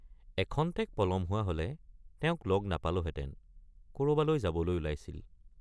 এখন্তেক পলম হোৱা হলে তেওঁক লগ নাপালোঁহেঁতেন—কৰবালৈ যাবলৈ ওলাইছিল।